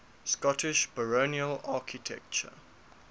scottish baronial architecture